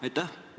Aitäh!